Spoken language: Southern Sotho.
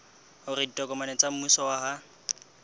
hore ditokomane tsa mmuso ha